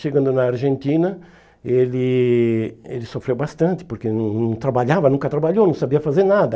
Chegando na Argentina, ele ele sofreu bastante, porque não não trabalhava, nunca trabalhou, não sabia fazer nada.